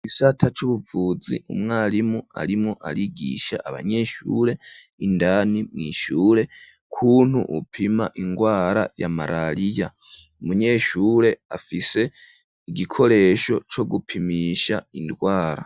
Igisata c'ubuvuzi umwarimu arimwo arigisha abanyeshure indani mwishure, kuntu bopima indwara ya marariya, umunyeshure afise igikoresho co gupimisha indwara.